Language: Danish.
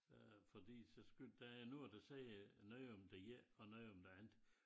Øh fordi så skulle der noget der siger noget om det ene og noget om det andet